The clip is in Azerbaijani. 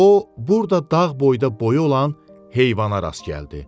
O burda dağ boyda boyu olan heyvana rast gəldi.